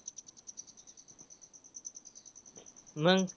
मंग